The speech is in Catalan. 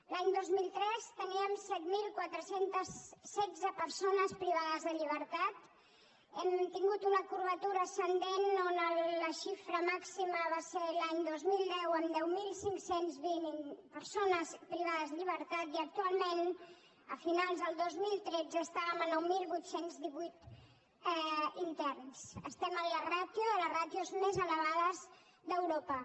l’any dos mil tres teníem set mil quatre cents i setze persones privades de llibertat hem tingut una curvatura ascendent on la xifra màxima va ser l’any dos mil deu amb deu mil cinc cents i vint persones privades de llibertat i actualment a finals del dos mil tretze estàvem a nou mil vuit cents i divuit interns estem en les ràtios més elevades d’europa